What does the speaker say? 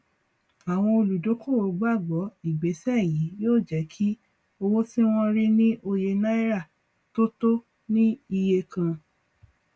àwọn olúdókòwò gbàgbọ ìgbésẹ yí yóò jẹ kí owó tí wọn rí ní òye náírà tó tó ní iye kan